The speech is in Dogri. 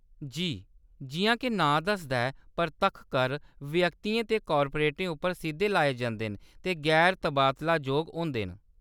जी, जिʼयां के नांऽ दसदा ऐ, परतक्ख कर व्यक्तियें ते कार्पोरेटें उप्पर सिद्धे लाए जंदे न ते गैर-तबादलाजोग होंदे न।